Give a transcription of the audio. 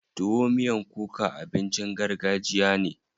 Tuwo miyan kuka abincin gargajiya ne.